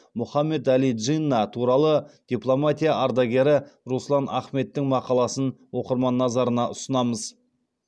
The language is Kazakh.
мұхаммед әли джинна туралы дипломатия ардагері руслан ахметтің мақаласын оқырман назарына ұсынамыз